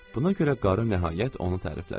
Buna görə qarı nəhayət onu təriflədi.